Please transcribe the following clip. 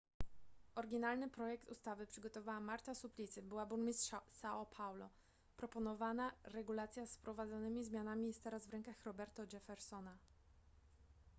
oryginalny projekt ustawy przygotowała marta suplicy była burmistrz são paulo. proponowana regulacja z wprowadzonymi zmianami jest teraz w rękach roberto jeffersona